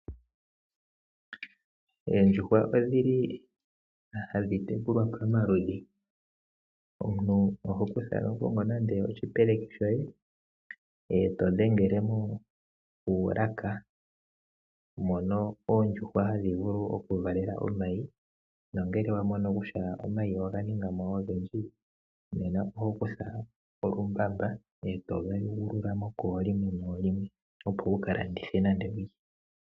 Oondjuhwa odhili hadhi tekulwa pomaludhi. Omuntu oho kongo nande oshipeleki shoye eto dhengelemo oolaka mono oondjuhwa hadhi vulu oku valela omayi nongele wamono kutya omayi oganingamo ogendji nena ohokutha okambamba etotolaa koolimwe opo wula landithe.